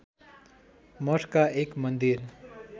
मठका एक मन्दिर